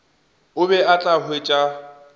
o be o tla hwetša